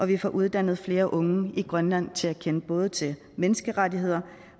vi får uddannet flere unge i grønland til at kende både til menneskerettigheder